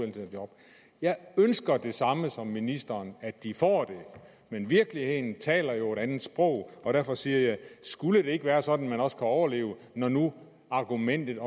et job jeg ønsker det samme som ministeren at de får det men virkeligheden taler jo et andet sprog og derfor siger jeg skulle det ikke være sådan at man også kan overleve når nu argumentet